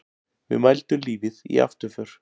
Við mældum lífið í afturför.